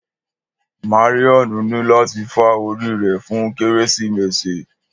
Marrion ni lati fá ori rẹ fun Keresimesi.